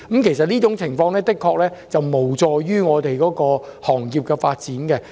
其實這種做法的確無助行業的發展。